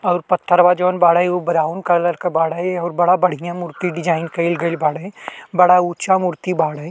और पत्थरवा जोवन बाड़े उ ब्राउन कलर के बाड़े और बड़ा बढ़ियां मूर्ति डिज़ाइन कइल गइल बाड़े। बड़ा ऊँचा मूर्ति बाड़े।